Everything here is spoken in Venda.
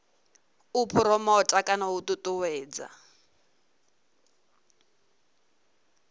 u phuromotha kana u ṱuṱuwedza